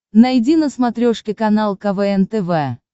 найди на смотрешке канал квн тв